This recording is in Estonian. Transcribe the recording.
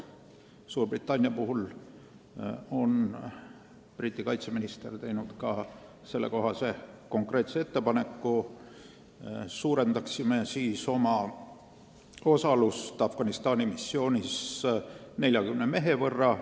Suurbritannia puhul on Briti kaitseminister teinud sellekohase konkreetse ettepaneku, et me suurendaksime oma osalust Afganistani missioonil 40 mehe võrra.